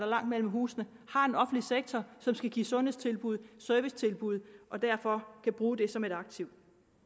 langt mellem husene har en offentlig sektor som skal give sundhedstilbud og servicetilbud og derfor kan bruge det som et aktiv